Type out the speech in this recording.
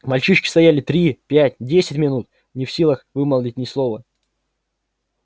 мальчишки стояли три пять десять минут не в силах вымолвить ни слова